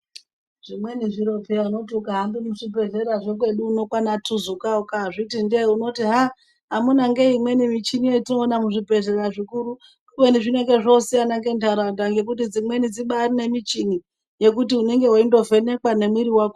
Zvimweni zviro zviya unoti ukahambe muzvibhehlera zvekwedu uno kwana tuzuka ukazviti ndee unoti ha amunangei michini yetinoona muzvibhehlera zvikuru kubeni zvinenge zvosiyana ngendara unda ngekuti dzimweni dzibairi nemuchini yekuti unenga weindo vhenekwa nemwiri wako